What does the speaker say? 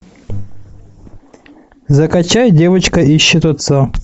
закачай девочка ищет отца